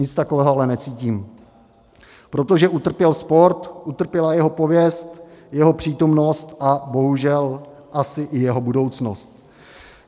Nic takového ale necítím, protože utrpěl sport, utrpěla jeho pověst, jeho přítomnost a bohužel asi i jeho budoucnost.